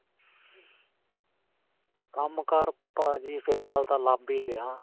ਕੰਮ ਕਾਰ ਭਾਜੀ ਫਿਲਹਾਲ ਤਾਂ ਲੱਭ ਹੀ ਰਿਹਾ.